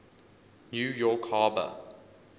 new york harbor